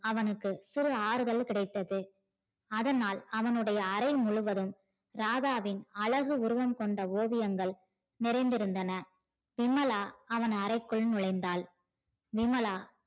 அவனுக்கு சிறு ஆறுதல் கிடைத்தது அதனால் அவனுடைய அரை முழுவதும் ராதாவின் அழகு உருவம் கொண்ட ஓவியங்கள் நிறைந்து இருந்தன விமலா அவன் அறைக்குள் நுழைந்தால் விமலா